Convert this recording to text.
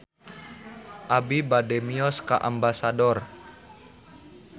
Abi bade mios ka Ambasador